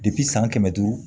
san kɛmɛ duuru